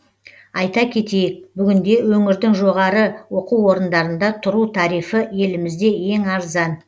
айта кетейік бүгінде өңірдің жоғары оқу орындарында тұру тарифі елімізде ең арзан